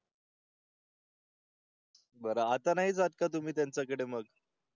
बरं आतां नाही जात का तुम्ही त्यांच्याकडे मग